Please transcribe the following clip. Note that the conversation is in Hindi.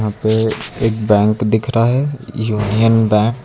ये एक बैंक दिख रहा हैं यूनियन बैंक ।